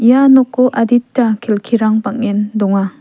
ia noko adita kelkirang bang·en donga.